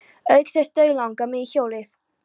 Auk þess dauðlangaði mig í hjólið.